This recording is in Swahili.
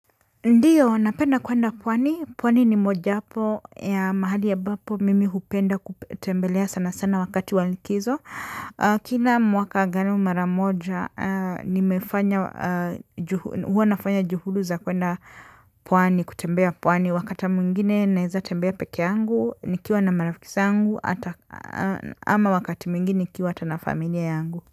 Ndiyo, napenda kwenda pwani. Pwani ni mojawapo ya mahali ambapo mimi hupenda kutembelea sana sana wakati wa likizo. Kila mwaka, angalau mara moja nimefanya. Huwa nafanya juhulu za kwenda pwani, kutembea pwani. Wakati mwingine, naeza tembea pekee yangu, nikiwa na marafiki zangu, ama wakati mwingine, nikiwa hata na familia yangu.